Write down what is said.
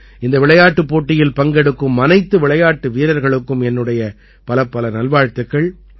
இந்த விளையாட்டுப் போட்டியில் பங்கெடுக்கும் அனைத்து விளையாட்டு வீரர்களுக்கும் என்னுடைய பலப்பல நல்வாழ்த்துக்கள்